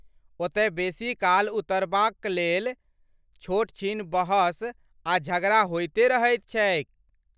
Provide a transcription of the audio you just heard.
ओतय बेसीकाल उतरबाकलेल छोटछीन बहस आ झगड़ा होइते रहैत छैक।